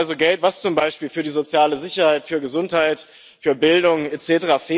Das ist also Geld, was zum Beispiel für die soziale Sicherheit, für Gesundheit, für Bildung etc.